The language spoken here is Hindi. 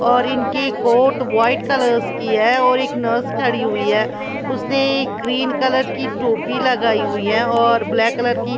और इनकी कोट व्हाइट कलर्स की है और एक नर्स खड़ी हुई है उसने ग्रीन कलर की टोपी लगाई हुई है और ब्लैक कलर की--